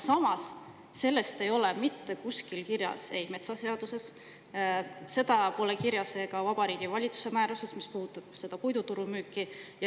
Samas, seda ei ole mitte kusagil kirjas – ei ole metsaseaduses, seda pole kirjas Vabariigi Valitsuse määruses, mis puudutab seda puidumüügiturgu.